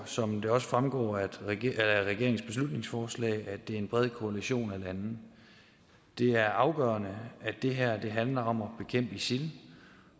som det også fremgår af regeringens beslutningsforslag at det er en bred koalition af lande det er afgørende at det her handler om at bekæmpe isil